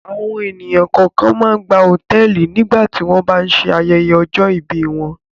Àwọn ènìyàn kọ̀ọ̀kan máa ń gba hòtẹ́ẹ́lì nígbà tí wọ́n bá ń ṣe ayẹyẹ ọjọ́-ìbí wọn.